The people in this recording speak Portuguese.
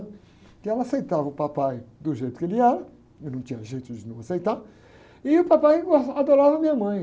Porque ela aceitava o papai do jeito que ele era, e não tinha jeito de não aceitar, e o papai gos, adorava a minha mãe.